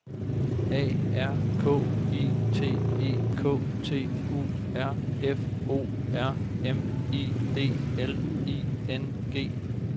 A R K I T E K T U R F O R M I D L I N G